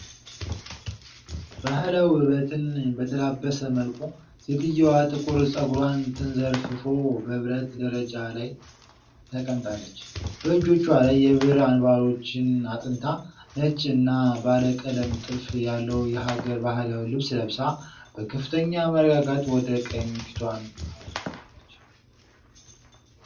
ባህላዊ ውበትን በተላበሰ መልኩ፣ ሴትየዋ ጥቁር ፀጉሯ ተንዘርፍፎ፣ በብረት ደረጃ ላይ ተቀምጣለች። በእጆቿ ላይ የብር አንባሮችን አጥንታ፣ ነጭ እና ባለ ቀለም ጥልፍ ያለው የሀገር ባህል ልብስ ለብሳ፣ በከፍተኛ መረጋጋት ወደ ቀኝ ፊቷን አዙራለች።